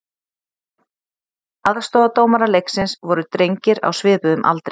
Aðstoðardómarar leiksins voru drengir á svipuðum aldri.